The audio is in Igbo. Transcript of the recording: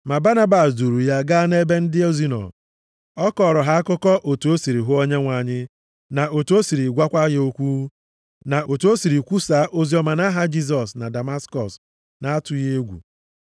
Ma Banabas duuru ya gaa nʼebe ndị ozi nọ. Ọ kọọrọ ha akụkọ otu o siri hụ Onyenwe anyị na otu o siri gwakwa ya okwu. Na otu o siri kwusaa oziọma nʼaha Jisọs na Damaskọs na-atụghị egwu.